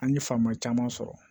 An ye faamuya caman sɔrɔ